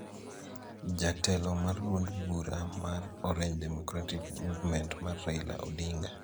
Jatelo mar duond bura mar Orange Democratic Movement mar Raila Odinga